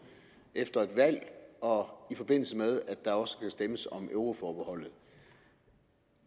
efter et valg og i forbindelse med at der også skal stemmes om euroforbeholdet